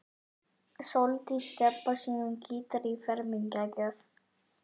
Sóldís Stebba sínum gítar í fermingargjöf.